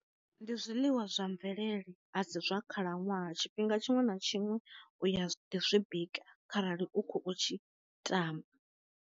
Ndi zwiḽiwa zwa mvelele a si zwa khala ṅwaha tshifhinga tshiṅwe na tshiṅwe u ya ḓi zwi bika kharali u kho tshi tama.